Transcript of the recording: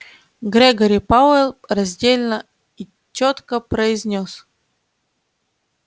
грегори пауэлл раздельно и чётко произнёс